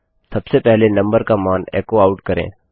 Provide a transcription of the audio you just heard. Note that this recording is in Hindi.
सबसे पहले नंबर का मान एको करें